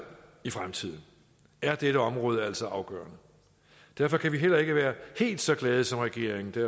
i fremtiden er dette område altså afgørende derfor kan vi heller ikke være helt så glade som regeringen det